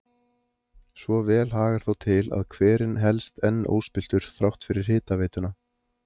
Svo vel hagar þó til að hverinn helst enn óspilltur þrátt fyrir hitaveituna.